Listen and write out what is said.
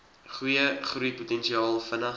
goeie groeipotensiaal vinnig